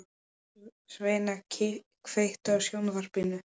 Sveina, kveiktu á sjónvarpinu.